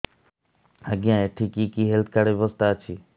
ଆଜ୍ଞା ଏଠି କି କି ହେଲ୍ଥ କାର୍ଡ ବ୍ୟବସ୍ଥା ଅଛି